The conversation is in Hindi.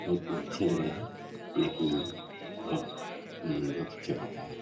बहुत ही अच्छा लग रहा है देखने में और म्म बहुत ही अच्छा कपड़ा है।